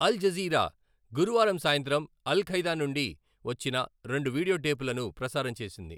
అల్ Jazeera గురువారం సాయంత్రం Al Qaeda నుండి వచ్చిన రెండు వీడియో టేపులను ప్రసారం చేసింది.